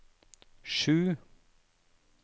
sju